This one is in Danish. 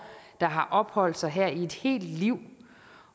der har opholdt sig her i et helt liv